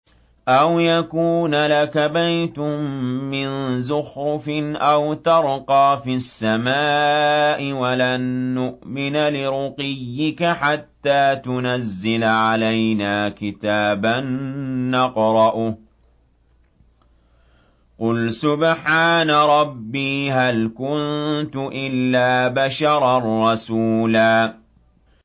أَوْ يَكُونَ لَكَ بَيْتٌ مِّن زُخْرُفٍ أَوْ تَرْقَىٰ فِي السَّمَاءِ وَلَن نُّؤْمِنَ لِرُقِيِّكَ حَتَّىٰ تُنَزِّلَ عَلَيْنَا كِتَابًا نَّقْرَؤُهُ ۗ قُلْ سُبْحَانَ رَبِّي هَلْ كُنتُ إِلَّا بَشَرًا رَّسُولًا